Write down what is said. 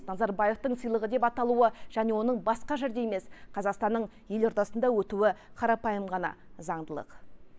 назарбаевтың сыйлығы деп аталуы және оның басқа жерде емес қазақстанның елордасында өтуі қарапайым ғана заңдылық